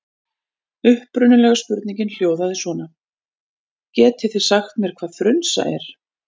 Upprunalega spurningin hljóðaði svona: Getið þig sagt mér hvað frunsa er?